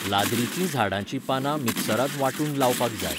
लाज्रिची झाडांचीं पानां मिक्सरांत वांटून लावपाक जाय.